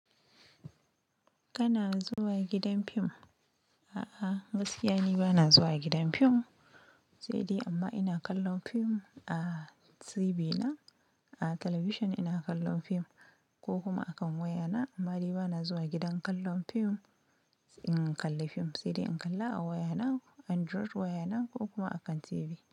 Kana zuwa gidan fim? A'a, gaskiya ni bana zuwa gidan fim, sai dai amma ina kallon fim a TV na, a talabishin ina kallon fim ko kuma a kan waya na. Amma ni bana zuwa gidan kallon fim, in kalli fim sai dai in kalla a waya na, Android waya na ko kuma akan TV.